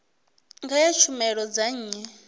nga ha tshumelo dza nnyi